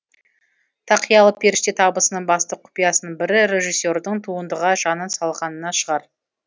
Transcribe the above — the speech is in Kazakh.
тақиялы періште табысының басты құпиясының бірі режиссердің туындыға жанын салғанында шығар